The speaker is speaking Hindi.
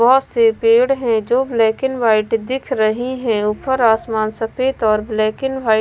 बहुत से पेड़ हैं जो ब्लैक एंड व्हाइट दिख रही हैं ऊपर आसमान सफेद और ब्लैक एंड व्हाइट --